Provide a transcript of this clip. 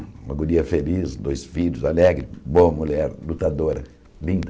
Uma guria feliz, dois filhos, alegre, boa mulher, lutadora, linda.